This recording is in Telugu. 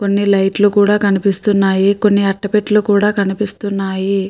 కొన్ని లైట్ లు కూడా కనిపిస్తున్నాయి కొన్ని అట్ట పెట్టలు కూడా కనిపిస్తున్నాయి.